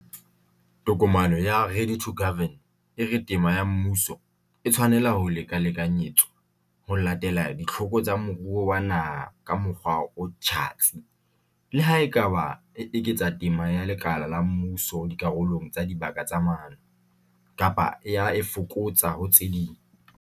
Tokomane ya 'Ready to Govern' e re tema ya mmuso "e tshwanela ho lekalekanyetswa ho latela ditlhoko tsa moruo wa naha ka mokgwa o tjhatsi", le ha e ka ba e eketsa tema ya lekala la mmuso dikarolong tsa dibaka tsa maano, kapa e a e fokotsa ho tse ding.